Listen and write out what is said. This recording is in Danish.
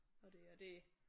Og det og det